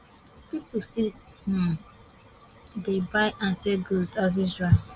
pipo still um dey buy and sell goods as usual